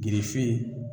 Girife